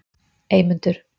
Eymundur